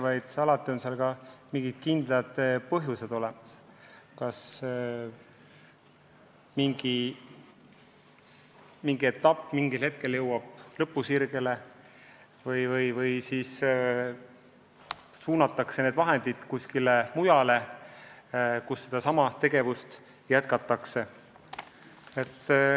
Sageli on mingi teine kindel põhjus – kas mingi etapp jõuab lõpusirgele või suunatakse vahendid kuskile mujale, kus sedasama tegevust jätkatakse.